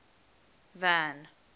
van